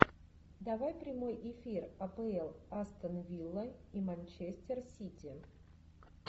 давай прямой эфир апл астон вилла и манчестер сити